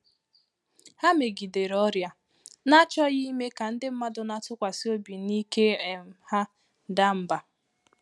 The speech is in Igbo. Há megidèrè ọ́rị́à́, n’àchọ́ghị́ ìmé kà ndị́ mmàdụ̀ nà-àtụ́kwàsị́ óbí nà íké um há daa mbà.